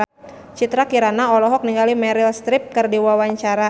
Citra Kirana olohok ningali Meryl Streep keur diwawancara